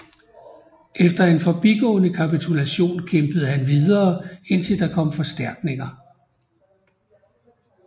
Efter en forbigående kapitulation kæmpede han videre indtil der kom forstærkninger